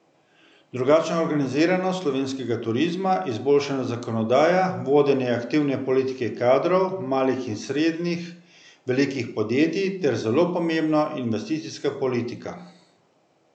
Drugačna organiziranost slovenskega turizma, izboljšana zakonodaja, vodenje aktivne politike kadrov, malih in srednje velikih podjetij, ter, zelo pomembno, investicijska politika.